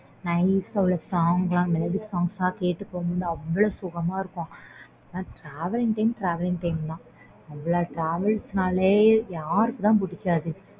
night ல உள்ள melody songs கேட்டுட்டு போகும்போது அவ்ளோ சொகமா இருக்கும் ஆனா travelling time travelling time தான் travel நாளே யாருக்கு தான் புடிக்காது